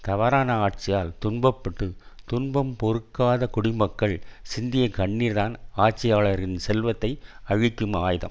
தவறான ஆட்சியால் துன்ப பட்டு துன்பம் பொறுக்காத குடிமக்கள் சிந்திய கண்ணீர்தான் ஆட்சியாளரின் செல்வத்தை அழிக்கும் ஆயுதம்